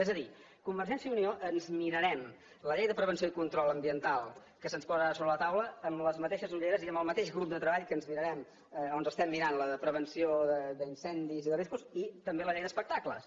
és a dir convergència i unió ens mirarem la llei de prevenció i control ambiental que se’ns posa ara sobre la taula amb les mateixes ulleres i amb el mateix grup de treball que ens mirarem o ens estem mirant la de prevenció d’incendis i de riscos i també la llei d’espectacles